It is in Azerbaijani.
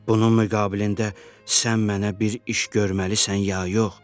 Bunun müqabilində sən mənə bir iş görməlisən, ya yox?